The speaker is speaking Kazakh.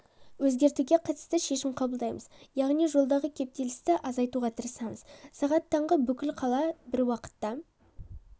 өзгертуге қатысты шешім қабылдаймыз яғни жолдағы кептелісті азайтуға тырысамыз сағат таңғы бүкіл қала бір уақытта